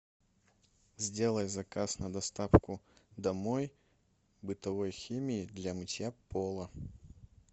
сделай заказ на доставку домой бытовой химии для мытья пола